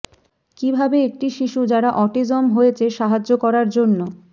কিভাবে একটি শিশু যারা অটিজম হয়েছে সাহায্য করার জন্য